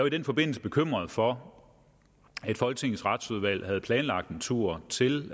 i den forbindelse bekymret for folketingets retsudvalg havde planlagt en tur til